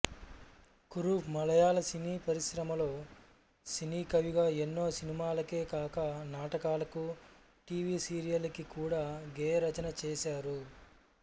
కురుప్ మలయాళ సినీపరిశ్రమలో సినీకవిగా ఎన్నో సినిమాలకే కాక నాటకాలకు టి వి సీరియళ్ళకి కూడా గేయరచన చేశారు